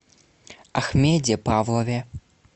ахмеде павлове